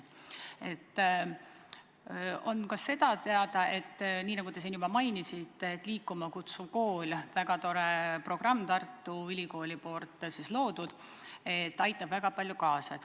On ka teada, nii nagu te juba mainisite, et Liikuma Kutsuv Kool – väga tore programm, Tartu Ülikooli loodud – aitab väga palju kaasa.